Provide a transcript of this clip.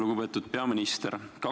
Lugupeetud peaminister!